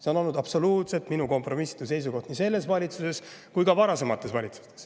See on olnud absoluutselt minu kompromissitu seisukoht nii selles valitsuses kui ka varasemates valitsustes.